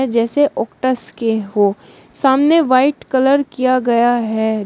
जैसे ऑक्टस के हो सामने व्हाइट कलर किया गया है।